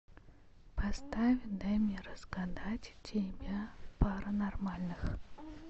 поставь дай мне разгадать тебя пара нормальных